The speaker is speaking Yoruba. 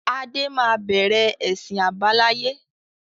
Adé máa bẹ̀rẹ̀ ẹsin àbáláyé